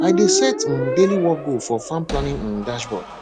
i dey set um daily work goal for farm planning um dashboard